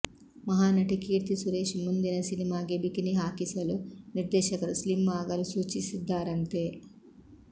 ಮಹಾನಟಿ ಕೀರ್ತಿ ಸುರೇಶ್ ಮುಂದಿನ ಸಿನಿಮಾಗೆ ಬಿಕಿನಿ ಹಾಕಿಸಲು ನಿರ್ದೇಶಕರು ಸ್ಲಿಮ್ ಆಗಲು ಸೂಚಿಸಿದ್ದಾರಂತೆ